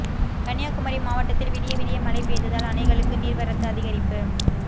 கன்னியாகுமரி மாவட்டத்தில் விடிய விடிய மழை பெய்ததால் அணைகளுக்கு நீர்வரத்து அதிகரிப்பு